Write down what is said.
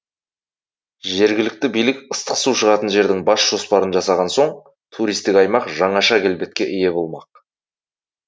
жергілікті билік ыстық су шығатын жердің бас жоспарын жасаған соң туристік аймақ жаңаша келбетке ие болмақ